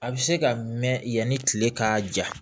A bɛ se ka mɛn yanni kile ka ja